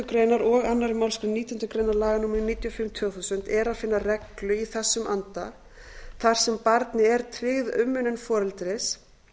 grein og annarri málsgrein nítjánda grein laga númer níutíu og fimm tvö þúsund er að finna reglu í þessum anda þar sem barni er tryggð umönnun foreldris